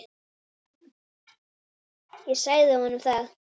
Ég sagði honum það!